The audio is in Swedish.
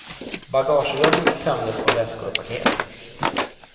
Bagagerummet tömdes på väskor och paket.